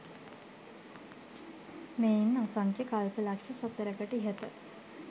මෙයින් අසංඛ්‍ය කල්පලක්‍ෂ සතරකට ඉහත